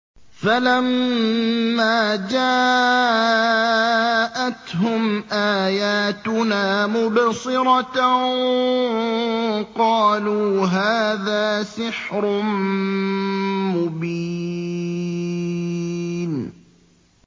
فَلَمَّا جَاءَتْهُمْ آيَاتُنَا مُبْصِرَةً قَالُوا هَٰذَا سِحْرٌ مُّبِينٌ